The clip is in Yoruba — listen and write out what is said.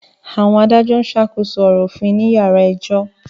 Àwọn adájọ́ ń ṣàkóso ọ̀rọ̀ òfin ní yàrá ẹjọ́